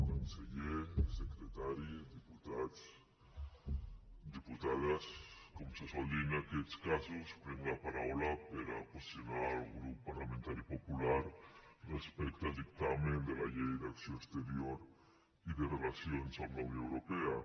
conseller secretari diputats diputades com se sol dir en aquests casos prenc la paraula per a posicionar el grup parlamentari popular respecte al dictamen de la llei d’acció exterior i de relacions amb la unió europea